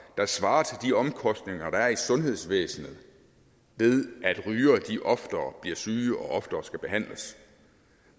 der svarer til de omkostninger der er i sundhedsvæsenet ved at rygere oftere bliver syge og oftere skal behandles